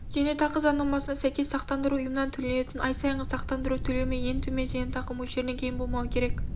зейнетақы заңнамасына сәйкес сақтандыру ұйымынан төленетін ай сайынғы сақтандыру төлемі ең төмен зейнетақы мөлшерінен кем болмауы керек